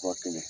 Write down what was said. Furakɛli